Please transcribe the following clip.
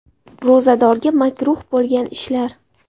Ro‘zadorga makruh bo‘lgan ishlar.